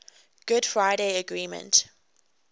good friday agreement